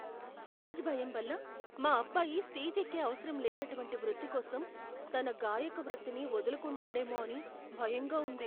Stage భయం వల్ల మా అబ్బాయి స్టేజ్ ఎక్కే అవసరం లేనటువంటి వృత్తి కోసం తన గాయక వృత్తిని వదులుకుంటాడేమో అని భయంగా ఉంది.